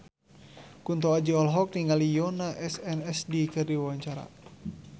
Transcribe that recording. Kunto Aji olohok ningali Yoona SNSD keur diwawancara